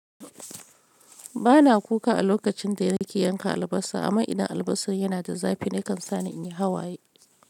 Ba na kuka a lokacin da na ke yanka albasa, amma idan albasar yana da zafi nakan sani in yi hawaye.